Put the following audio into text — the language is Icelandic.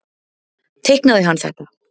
Teiknaði hann þetta?